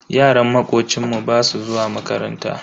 Yaran makocinmu basu zuwa makaranta.